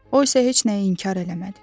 O isə heç nəyi inkar eləmədi.